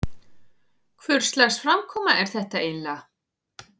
Hvurslags framkoma er þetta eiginlega?